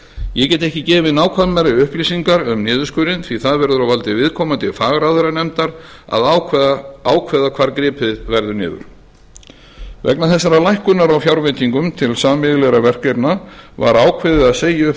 ég get ekki gefið nákvæmari upplýsingar um niðurskurðinn því það verður á valdi viðkomandi fagráðherranefndar að ákveða hvar gripið verður niður vegna þessarar lækkunar á fjárveitingunum til sameiginlegra verkefna var ákveðið að segja upp